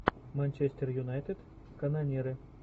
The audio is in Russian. манчестер юнайтед канониры